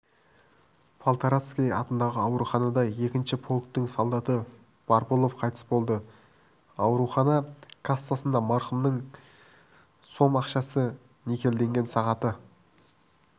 полторацкий атындағы ауруханада екінші полктің солдаты барбулов қайтыс болды аурухана кассасында марқұмның сом ақшасы никельденген сағаты